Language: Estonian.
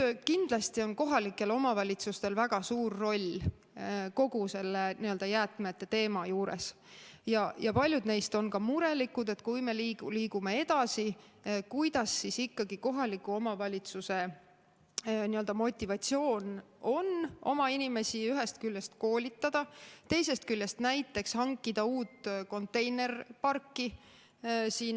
Nüüd, kindlasti on kohalikel omavalitsustel väga suur roll kogu selle jäätmete teema juures, ja paljud neist on ka murelikud, et kui me liigume edasi, siis kuidas ikkagi kohaliku omavalitsuse motivatsioon on oma inimesi ühest küljest koolitada, teisest küljest näiteks hankida uut konteineriparki.